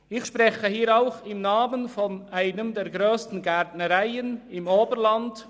Ich spreche hier im Namen einer der grössten Gärtnereien im Oberland.